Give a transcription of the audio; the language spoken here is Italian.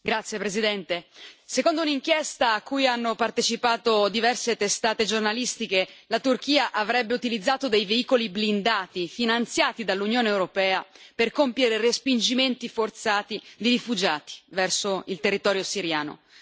Signora Presidente, onorevoli colleghi, secondo un'inchiesta a cui hanno partecipato diverse testate giornalistiche, la Turchia avrebbe utilizzato dei veicoli blindati finanziati dall'Unione europea per compiere respingimenti forzati di rifugiati verso il territorio siriano.